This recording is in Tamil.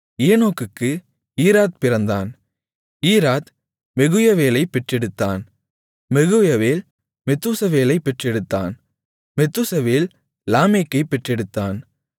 ஏனோக்குக்கு ஈராத் பிறந்தான் ஈராத் மெகுயவேலைப் பெற்றெடுத்தான் மெகுயவேல் மெத்தூசவேலைப் பெற்றெடுத்தான் மெத்தூசவேல் லாமேக்கைப் பெற்றெடுத்தான்